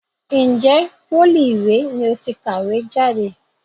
Ǹjẹ́ pólì ìré ni ó ti kàwé jáde?